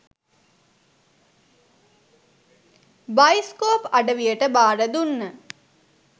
Bioscope අඩවියට බාර දුන්න.